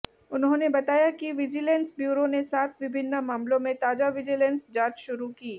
उन्होंने बताया कि विजिलैंस ब्यूरो ने सात विभिन्न मामलों में ताजा विजिलैंस जांच शुरू की